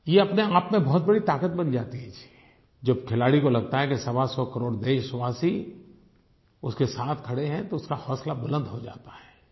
ये अपनेआप में बहुत बड़ी ताक़त बन जाती है जी जब खिलाड़ी को लगता है कि सवासौ करोड़ देशवासी उसके साथ खड़े हैं तो उसका हौसला बुलंद हो जाता है